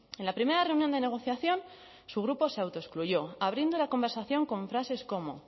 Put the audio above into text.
en la primera reunión de negociación su grupo se autoexcluyó abriendo la conversación con frases como